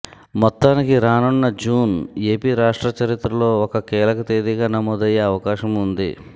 మొత్తానికి రానున్న June AP రాష్ట్ర చరిత్రలో ఒక కీలకతేదీగా నమోదయ్యే అవకాశం ఉంది